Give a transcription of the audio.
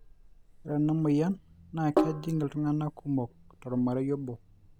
re ena moyian naa kejing' iltunganak kumok tolamrei obo